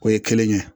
O ye kelen ye